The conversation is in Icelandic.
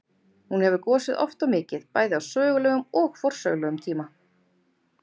Hún hefur gosið oft og mikið, bæði á sögulegum og forsögulegum tíma.